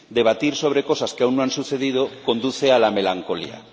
Debatir sobre cosas que aún no han sucedido conduce a la melancolía.